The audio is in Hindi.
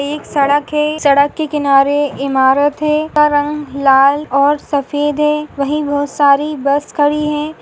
एक सड़क है सड़क के किनारे इमारत है का रंग लाल और सफेद है वही बहुत सारी बस खड़ी है।